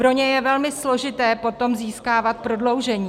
Pro ně je velmi složité potom získávat prodloužení.